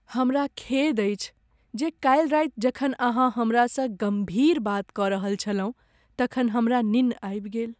हमरा खेद अछि जे कालि राति जखन अहाँ हमरासँ गम्भीर बात कऽ रहल छलहुँ तखन हमरा निन्न आबि गेल।